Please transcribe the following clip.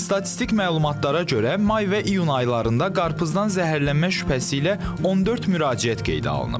Statistik məlumatlara görə, may və iyun aylarında qarpızdan zəhərlənmə şübhəsi ilə 14 müraciət qeydə alınıb.